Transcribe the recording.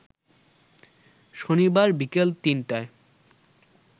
শনিবার বিকেল ৩টায়